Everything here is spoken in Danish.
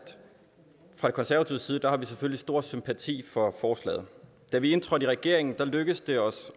fra konservativ side har vi selvfølgelig stor sympati for forslaget da vi indtrådte i regeringen lykkedes det os